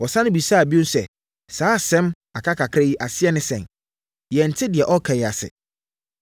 Wɔsane bisaa bio sɛ, “Saa asɛm, ‘aka kakra’ yi aseɛ ne sɛn? Yɛnte deɛ ɔreka yi ase.”